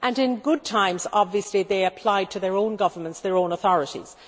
and in good times obviously they applied to their own governments, their own authorities.